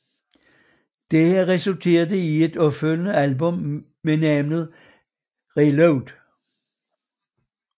Dette resulterede i et opfølgende album ved navn ReLoad